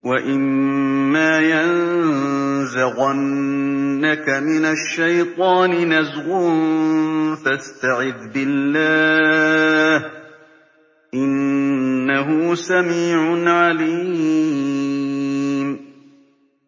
وَإِمَّا يَنزَغَنَّكَ مِنَ الشَّيْطَانِ نَزْغٌ فَاسْتَعِذْ بِاللَّهِ ۚ إِنَّهُ سَمِيعٌ عَلِيمٌ